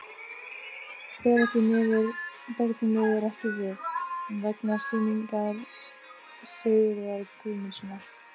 Bera því miður ekki við, vegna sýningar Sigurðar Guðmundssonar.